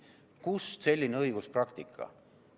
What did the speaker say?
Kust selline õiguspraktika?